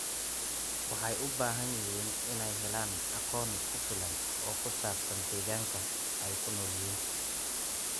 Waxay u baahan yihiin inay helaan aqoon ku filan oo ku saabsan deegaanka ay ku nool yihiin.